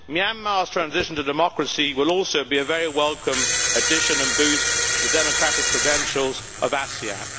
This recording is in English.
Myanmar's transition to democracy will also be a very welcome addition and boost to the democratic credentials of ASEAN.